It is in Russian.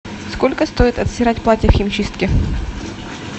сколько стоит отстирать платье в химчистке